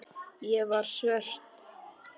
Ég var svört og ljót.